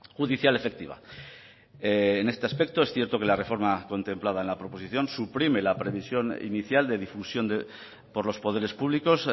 judicial efectiva en este aspecto es cierto que la reforma contemplada en la proposición suprime la previsión inicial de difusión por los poderes públicos